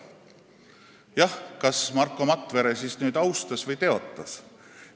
Jah, kas Marko Matvere siis austas või teotas hümni?